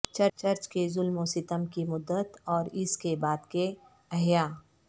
church کے ظلم و ستم کی مدت اور اس کے بعد کے احیا